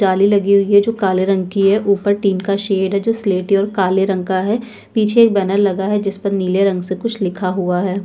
जाली लगी हुई जो काले रंग की है ऊपर टीन का शेड है जो स्लेटी और काले रंग का है पीछे एक बैनर लगा है जिस पर नीले रंग से कुछ लिखा है।